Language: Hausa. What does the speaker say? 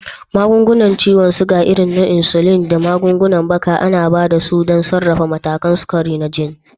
Magungunan ciwon sukari, irin su insulin da magungunan baka, ana ba da su don sarrafa matakan sukari na jini.